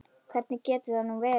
Hvernig getur það nú verið?